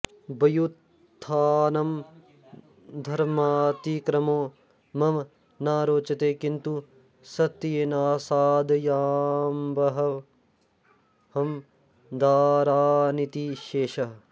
व्युत्थानं धर्मातिक्रमो मम न रोचते किन्तु सत्येनासादयाम्बहं दारानिति शेषः